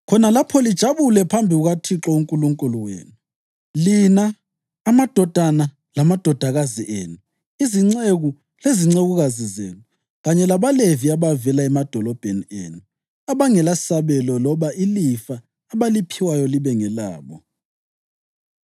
Khona lapho lijabule phambi kukaThixo uNkulunkulu wenu, lina, amadodana lamadodakazi enu, izinceku lezincekukazi zenu, kanye labaLevi abavela emadolobheni enu, abangelasabelo loba ilifa abaliphiwayo libe ngelabo.